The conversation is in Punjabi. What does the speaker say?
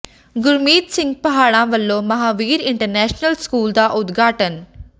ਗੁਰਮੀਤ ਸਿੰਘ ਪਾਹੜਾ ਵਲੋਂ ਮਹਾਂਵੀਰ ਇੰਟਰਨੈਸ਼ਨਲ ਸਕੂਲ ਦਾ ਉਦਘਾਟਨ